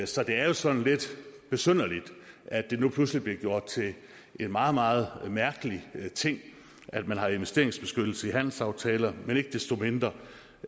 så det er jo sådan lidt besynderligt at det nu pludselig bliver gjort til en meget meget mærkelig ting at man har investeringsbeskyttelse i handelsaftaler men ikke desto mindre